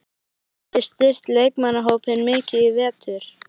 Hafið þið styrkt leikmannahópinn mikið í vetur?